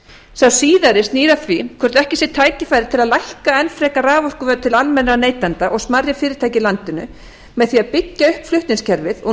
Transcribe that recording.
sá síðari snýr að því hvort ekki sé tækifæri til að lækka enn frekar raforkuverð til almennra neytenda og smærri fyrirtækja í landinu með því að byggja upp flutningskerfið og